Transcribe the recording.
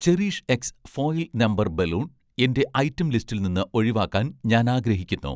cherish X' foil number balloon, എന്‍റെ item ലിസ്റ്റിൽ നിന്ന് ഒഴിവാക്കാൻ ഞാൻ ആഗ്രഹിക്കുന്നു